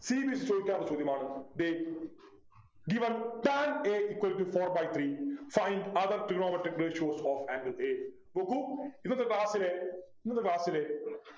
cbse ചോദിക്കാറുള്ള ചോദ്യമാണ് ദേ Given tan a equal to four by three Find other trigonometric ratios of angle a നോക്കൂ ഇന്നത്തെ class ലെ ഇന്നത്തെ class ലെ